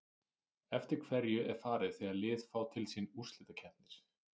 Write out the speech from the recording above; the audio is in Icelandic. Eftir hverju er farið þegar lið fá til sín úrslitakeppnir?